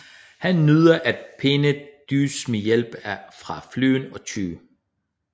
Han nyder at pine Deuce med hjælp fra Flynn og Ty